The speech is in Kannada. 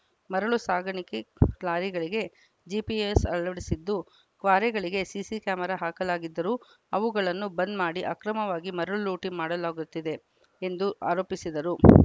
ಮರಳು ಸಾಗಾಣಿಕೆ ಲಾರಿಗಳಿಗೆ ಜಿಪಿಎಸ್‌ ಅಳವಡಿಸಿದ್ದು ಕ್ವಾರೆಗಳಿಗೆ ಸಿಸಿ ಕ್ಯಾಮೆರಾ ಹಾಕಲಾಗಿದ್ದರೂ ಅವುಗಳನ್ನು ಬಂದ್‌ ಮಾಡಿ ಅಕ್ರಮವಾಗಿ ಮರಳು ಲೂಟಿ ಹೊಡೆಯಲಾಗುತ್ತಿದೆ ಎಂದು ಆರೋಪಿಸಿದರು